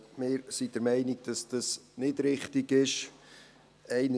Wir sind der Meinung, dass dies nicht richtig ist.